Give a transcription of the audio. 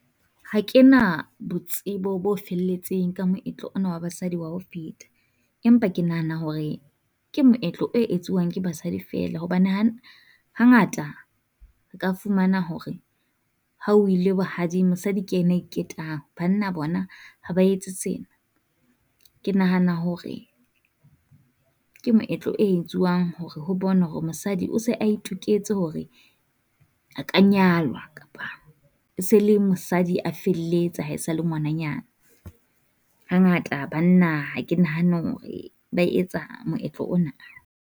Ha ke na botsebo bo felletseng ka moetlo ona wa basadi wa ho feta, empa ke nahana hore ke moetlo e etsuwang ke basadi feela. Hobane hangata ka fumana hore ha o ile bohading mosadi ke ena a iketang, banna bona ha ba etse sena. Ke nahana hore ke moetlo e etsuwang hore ho bonwe hore mosadi o se a itoketse hore a ka nyalwa, kapa e se le mosadi a felletse ha e sa le ngwananyana. Hangata banna ha ke nahane hore ba etsa monyetla ona.